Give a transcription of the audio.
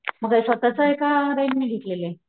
मग काय स्वतःच का रेंट ने घेतलेलंय?